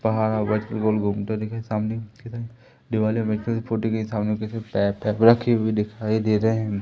सामने की तरफ दिवाले पाइप रखी हुई दिखाई दे रहें है।